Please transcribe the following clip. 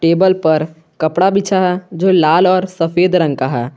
Table पर कपड़ा बिछा जो लाल और सफेद रंग का है।